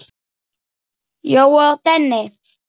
Jói og Denni.